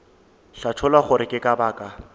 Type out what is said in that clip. hlatholla gore ke ka baka